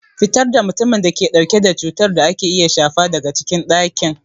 Fitar da mutumin da ke dauke da cutar da ake iya shafa daga cikin dakin!